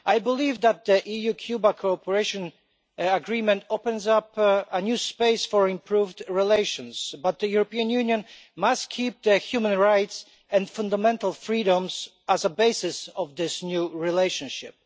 I believe that the EU Cuba Cooperation Agreement opens up a new space for improved relations. But the European Union must keep its human rights and fundamental freedoms as a basis of this new relationship.